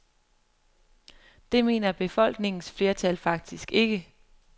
Det mener befolkningens flertal faktisk ikke.